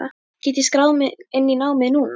Get ég skráð mig inn í námið núna?